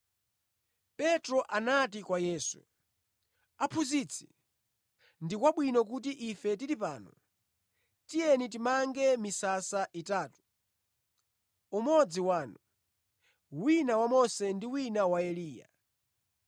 Petro anati kwa Yesu, “Aphunzitsi, ndi kwabwino kuti ife tili pano. Tiyeni timange misasa itatu; umodzi wanu, wina wa Mose ndi wina wa Eliya.”